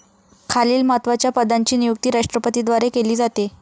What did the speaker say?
खालील महत्त्वाच्या पदांची नियुक्ती राष्ट्रपतींद्वारे केली जाते.